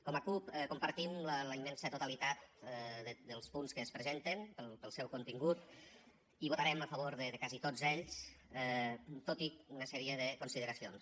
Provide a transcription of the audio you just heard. com a cup compartim la immensa totalitat dels punts que es presenten pel seu contingut i votarem a favor de quasi tots ells tot i una sèrie de consideracions